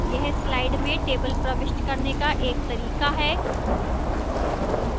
यह slide में table प्रविष्ट करने का एक तरीका है